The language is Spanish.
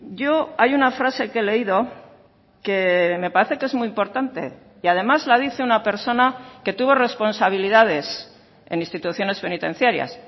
yo hay una frase que he leído que me parece que es muy importante y además la dice una persona que tuvo responsabilidades en instituciones penitenciarias